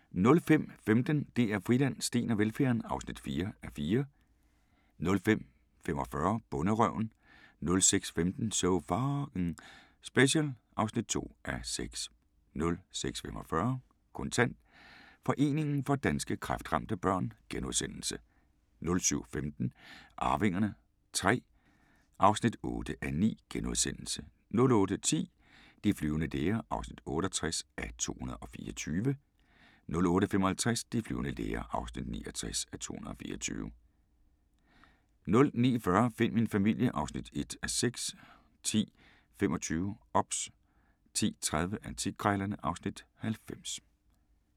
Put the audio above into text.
05:15: DR Friland: Steen og velfærden (4:4) 05:45: Bonderøven 06:15: So F***ing Special (2:6) 06:45: Kontant: Foreningen for Danske Kræftramte Børn * 07:15: Arvingerne III (8:9)* 08:10: De flyvende læger (68:224) 08:55: De flyvende læger (69:224) 09:40: Find min familie (1:6) 10:25: OBS 10:30: Antikkrejlerne (Afs. 90)